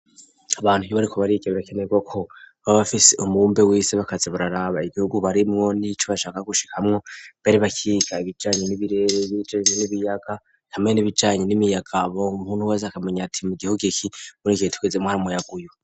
Abantu iyo bariko bariga birakenerwa ko, baba bafise umubumbe w'isi bakaza bararaba igihugu barimwo n'ico bashaka gushikamwo, mbere bakiga ibijanye n'ibirere n'ibijanye n'ibiyaga, hamwe n'ibijanye n'imiyaga ubu umuntu wese akamenya ati mu gihugu iki muri iki gihe tugezemwo hari umuyaga uwu.